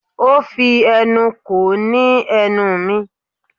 Ó fi ẹnu ko ní ẹnu mi.